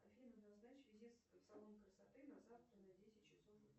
афина назначь визит в салон красоты на завтра на десять часов утра